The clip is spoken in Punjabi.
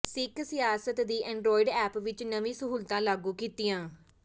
ਸਿੱਖ ਸਿਆਸਤ ਦੀ ਐਂਡਰਾਇਡ ਐਪ ਵਿੱਚ ਨਵੀਂ ਸਹੂਲਤਾਂ ਲਾਗੂ ਕੀਤੀਆਂ